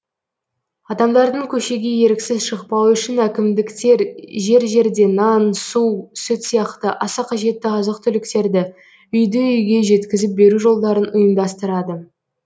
адамдардың көшеге еріксіз шықпауы үшін әкімдіктер жер жерде нан су сүт сияқты аса қажетті азық түліктерді үйді үйге жеткізіп беру жолдарын ұйымдастырады